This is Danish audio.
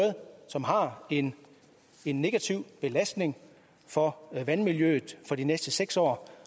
som har en negativ belastning for vandmiljøet for de næste seks år